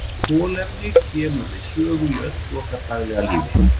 Kolefni kemur við sögu í öllu okkar daglega lífi.